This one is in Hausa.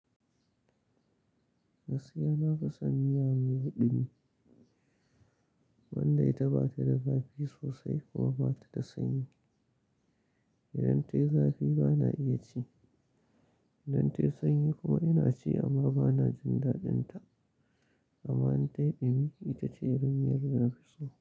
Gaskiya nafison miya mai ɗumi, wanda ita batada zafi sosai kuma batada sanyi. Idan tayi zafi bana iyaci, idan tayi sanyi kuma inaci amma banajin daɗinta. Amma in tayi ɗumi, itace irin miyarda nafiso.